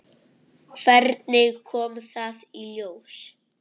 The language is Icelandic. Hvernig kom það í ljós?